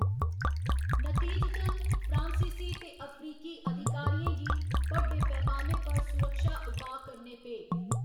नतीजतन, फ्रांसीसी ते अफ्रीकी अधिकारियें गी बड्डे पैमाने पर सुरक्षा उपाऽ करने पे।